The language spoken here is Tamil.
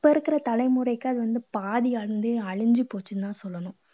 இப்போ இருக்கற தலைமுறைக்கு அது வந்து பாதி வந்து அழிஞ்சு போச்சுன்னு தான் சொல்லணும்.